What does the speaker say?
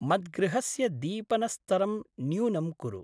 मद्गृहस्य दीपनस्तरं न्यूनं कुरु।